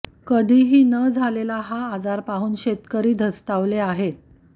कधीही न झालेला हा आजार पाहून शेतकरी धास्तावले आहेत